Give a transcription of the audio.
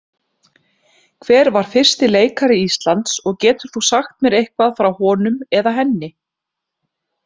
Hver var fyrsti leikari Íslands og getur þú sagt mér eitthvað frá honum eða henni?